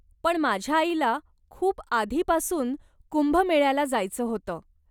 पण माझ्या आईला खूप आधीपासून कुंभमेळ्याला जायचं होतं.